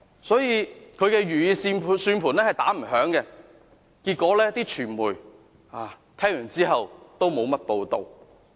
所以，他的如意算盤是打不響的，傳媒聽後也沒有多少報道。